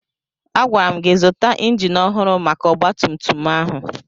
Agwara m gị zụta injin ọhụrụ maka ọgbatumtum ahụ!